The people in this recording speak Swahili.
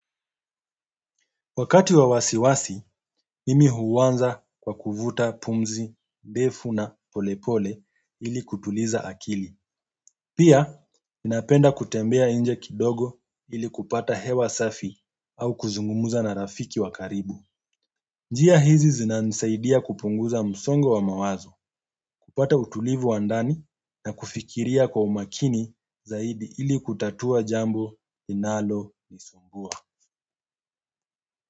Wakati wa wasiwasi, mimi huwanza kwa kuvuta pumzi, ndefu na polepole ili kutuliza akili. Pia, napenda kutembea inje kidogo ili kupata hewa safi au kuzungumuza na rafiki wa karibu. Njia hizi zina ni saidia kupunguza msongo wa mawazo, kupata utulivu wa ndani na kufikiria kwa umakini zaidi ili kutatua jambo linaloniisumbua.